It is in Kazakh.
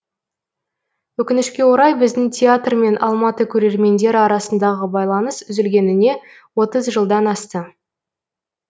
өкінішке орай біздің театр мен алматы көрермендері арасындағы байланыс үзілгеніне отыз жылдан асты